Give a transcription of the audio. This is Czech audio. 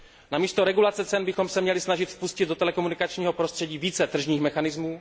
Namísto regulace cen bychom se měli snažit vpustit do telekomunikačního prostředí více tržních mechanismů.